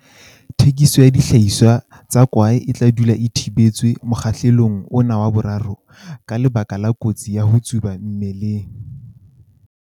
Thekiso ya dihlahiswa tsa kwae e tla dula e thibetswe mokgahlelong ona wa 3, ka lebaka la kotsi ya ho tsuba mmeleng.